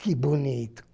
Que bonito!